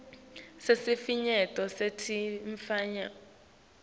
sesifinyeto setifo temfuyo